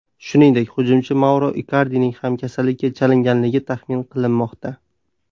Shuningdek, hujumchi Mauro Ikardining ham kasallikka chalinganligi taxmin qilinmoqda.